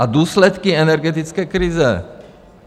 A důsledky energetické krize?